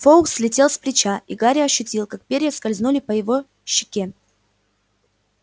фоукс слетел с плеча и гарри ощутил как перья скользнули по его щеке